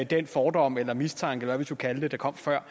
den fordom eller mistanke eller hvad vi skal kalde det der kom før